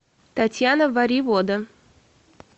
татьяна варивода